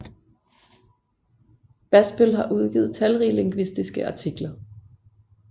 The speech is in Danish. Basbøll har udgivet talrige lingvistiske artikler